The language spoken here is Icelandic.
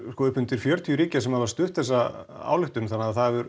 upp undir fjörutíu ríkja sem hafa stutt þessa ályktun þannig að það hefur